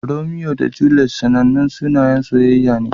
Romeo da Juliet sanannun sunayen soyayya ne.